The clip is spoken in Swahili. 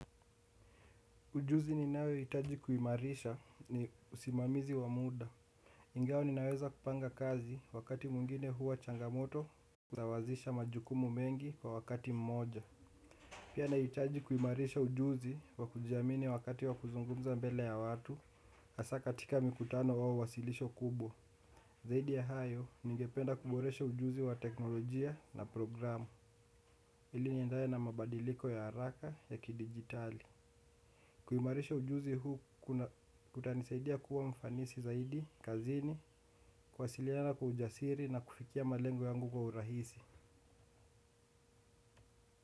Ujuzi ninayoitaji kuimarisha ni usimamizi wa muda. Ingawa ninaweza kupanga kazi wakati mwingine huwa changamoto kusawazisha majukumu mengi kwa wakati mmoja. Pia naitaji kuimarisha ujuzi wa kujiamini wakati wa kuzungumza mbele ya watu, hasa katika mikutano wau wasilisho kubwa. Zaidi ya hayo, ningependa kuboresha ujuzi wa teknolojia na programu. Ili niendane na mabadiliko ya haraka ya kidijitali. Kuimarisha ujuzi huu kutanisaidia kuwa mfanisi zaidi, kazini, kuwasiliana kwa ujasiri na kufikia malengo yangu kwa urahisi.